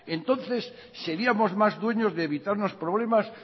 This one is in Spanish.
entonces seríamos más dueños de evitarnos problemas